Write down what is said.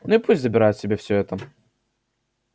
ну и пусть забирают себе всё это